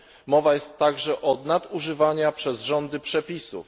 Mowa jest także o nadużywaniu przez rządy przepisów.